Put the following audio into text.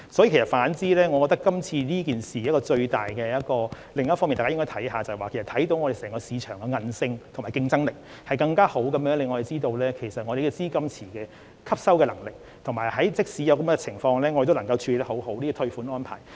因此，我認為大家應該留意，今次事件反而顯示了香港市場的韌性和競爭力，令人更清楚知道本地資金池的吸納能力，以及香港即使出現這種情況仍能妥善處理退款安排。